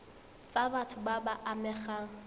tsa batho ba ba amegang